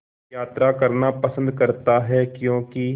यात्रा करना पसंद करता है क्यों कि